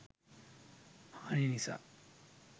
හානි නිසා